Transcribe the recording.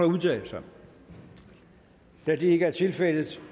udtale sig da det ikke er tilfældet